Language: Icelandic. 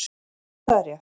Jú það er rétt.